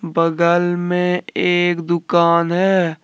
बगल में एक दुकान है।